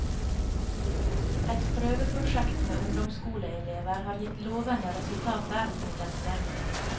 Et prøveprosjekt med ungdomsskoleelever har gitt lovende resultater, meldes det.